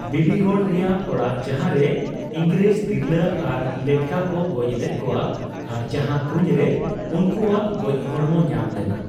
ᱵᱤᱵᱤᱜᱚᱲ ᱨᱮᱭᱟᱜ ᱚᱲᱟᱜ, ᱡᱟᱦᱟᱸᱨᱮ ᱤᱝᱨᱮᱡ ᱛᱤᱨᱞᱟᱹ ᱟᱨ ᱞᱮᱴᱠᱟ ᱠᱚ ᱜᱚᱡ ᱞᱮᱫ ᱠᱚᱣᱟ ᱟᱨ ᱡᱟᱦᱟᱸ ᱠᱩᱧᱨᱮ ᱩᱱᱠᱩ ᱟᱜ ᱜᱚᱪ ᱦᱚᱲᱢᱚ ᱧᱟᱢ ᱞᱮᱱᱟ ᱾